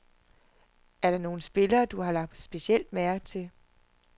Er der nogle spillere, du har lagt specielt mærke til.